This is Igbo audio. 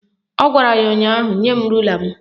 Ọ gwara ya ụnyaahụ "Nye m rula m"